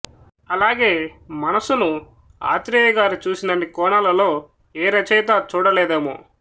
అలాగే మనసును ఆత్రేయ గారు చూసినన్ని కోణాలలో ఏ రచయితా చూడలేదేమో